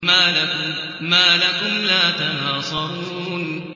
مَا لَكُمْ لَا تَنَاصَرُونَ